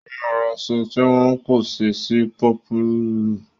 Ó máa ra aṣọ tí wọ́n kóṣẹ́ sí i pọ́pùùlù.